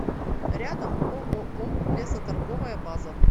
рядом ооо лесоторговая база